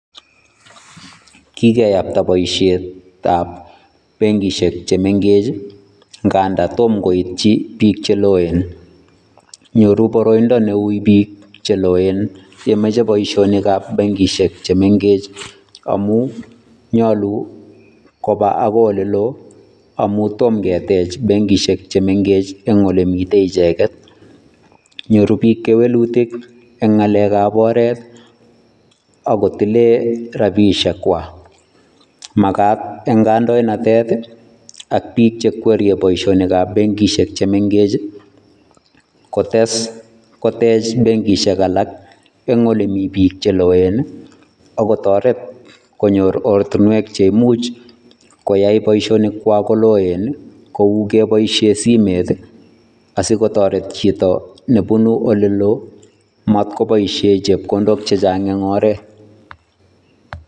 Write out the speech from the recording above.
kigeyakta boisiet ab bengisiek chemengech ng'andan tomo koitji biik cheloen, nyoru boroindo neui biik cheloen yemoche boisiet ab bengisiek chemengech amun, nyolu koba agoi oleloi, amun tom ketech bengisiek chemengech en olemiten icheget, ny'oru biik keweluik en ng'alek ab oreet agotilei rabishiekwa, magat en kandoinatet ak biik che kwere boisiet ab bengisiek chemeng'eech, kotech bengisiek alak, en olemi biik cheloen ak otoreet konyor ortinwek cheimuch koyai boishionikwa koloen kui keboishien simet asikotoret jito nebunu olelo matkoboishien chebkondok chejang en oreet.